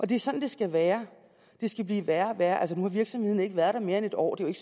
det er sådan det skal være det skal blive værre og værre altså nu har virksomheden ikke været der mere end en år det er